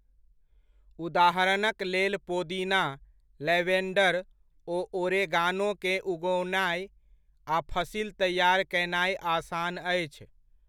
उदाहरणक लेल पोदीना, लैवेण्डर ओ ओरेगानोकेँ उगओनाइ आ फसिल तैआर कयनाइ आसान अछि।